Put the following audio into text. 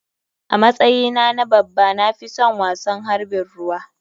A matsyi na na babba na fison wasan harɓin ruwa.